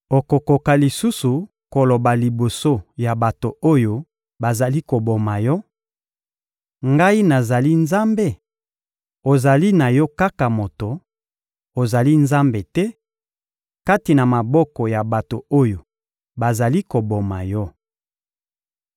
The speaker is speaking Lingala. Okokoka lisusu koloba liboso ya bato oyo bazali koboma yo: ‘Ngai nazali nzambe?’ Ozali na yo kaka moto; ozali nzambe te, kati na maboko ya bato oyo bazali koboma yo.